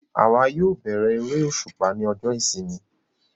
Àwa yóò bẹ̀rẹ eré òṣùpá ní ọjọ ìsinmi